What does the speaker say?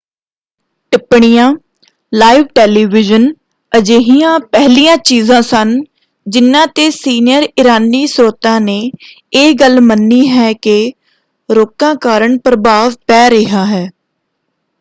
ਟਿੱਪਣੀਆਂ live television ਅਜਿਹੀਆਂ ਪਹਿਲੀਆਂ ਚੀਜਾਂ ਸਨ ਜਿਨ੍ਹਾਂ ‘ਤੇ ਸੀਨੀਅਰ ਇਰਾਨੀ ਸਰੋਤਾਂ ਨੇ ਇਹ ਗੱਲ ਮੰਨੀ ਹੈ ਕਿ ਰੋਕਾਂ ਕਾਰਨ ਪ੍ਰਭਾਵ ਪੈ ਰਿਹਾ ਹੈ।